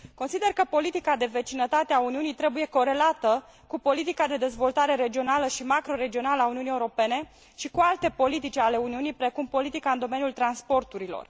Consider că politica de vecinătate a Uniunii trebuie corelată cu politica de dezvoltare regională și macroregională a Uniunii Europene și cu alte politici ale Uniunii, precum politica în domeniul transporturilor.